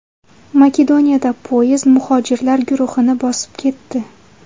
Makedoniyada poyezd muhojirlar guruhini bosib ketdi.